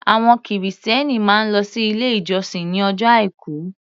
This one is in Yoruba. Àwọn Kìrìsìtẹ́ẹ́nì máa ń lọ sí ilé ìjọsìn ní ọjọ́ Àìkú.